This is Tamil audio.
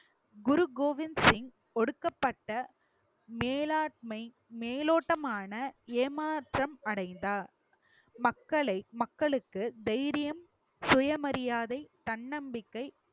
குரு கோவிந்த் சிங் ஒடுக்கப்பட்ட மேலாண்மை மேலோட்டமான ஏமாற்றம் அடைந்தார் மக்களை மக்களுக்கு தைரியம், சுயமரியாதை, தன்னம்பிக்கை